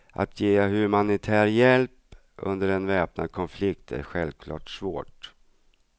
Att ge humanitär hjälp under en väpnad konflikt är självklart svårt.